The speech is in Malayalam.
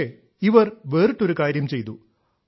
പക്ഷേ ഇവർ വേറിട്ടൊരു കാര്യം ചെയ്തു